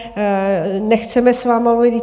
Nechceme s vámi mluvit.